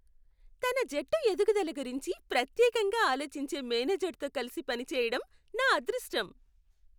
తన జట్టు ఎదుగుదల గురించి ప్రత్యేకంగా ఆలోచించే మేనేజర్తో కలిసి పని చేయడం నా అదృష్టం.